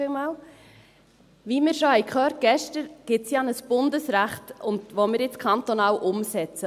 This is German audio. Wie wir schon gestern gehört haben, gibt es ja ein Bundesrecht, das wir jetzt kantonal umsetzen.